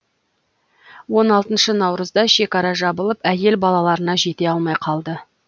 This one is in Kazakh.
он алтыншы наурызда шекара жабылып әйел балаларына жете алмай қалды